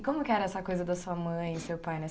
E como que era essa coisa da sua mãe e seu pai